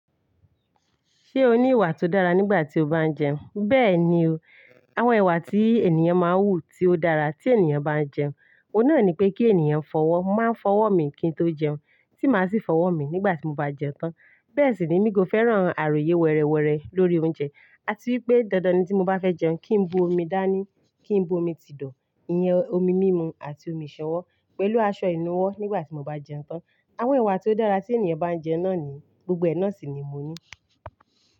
Ṣé o ní ìwà tó dára nígbà tí o bá ń jẹun? Bẹ́ẹ̀ni o, àwọn ìwà tí ènìyàn máa ń wù tí ó dára tí ènìyàn bá ń jẹun, òun náà ni pé kí ènìyàn fọwọ́ má fọwọ́ mi kí n tó jẹun, tí máa sì fọwọ́ mi nígbà tí mo bá jẹun tán. Bẹ́ẹ̀ sì ni mi kò fẹ́ràn àròyé wẹrẹwẹrẹ lórí oúnjẹ. Àti wípé dandan ni tí mo bá fẹ́ jẹun, kí ń bu omi dání, kí ń bu omi ti dọ̀, ìyẹn omi mímu àti omi ìṣanwọ́ pẹ̀lú aṣọ ìnuwọ́ nígbà tí mo bá jẹun tán. Àwọn ìwà tó dára tí ènìyàn bá ń jẹun náà ni, gbogbo ẹ̀ náà sì ni mo ní.